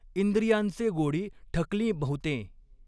इंद्रियांचे गोडी ठकलीं बहुतें।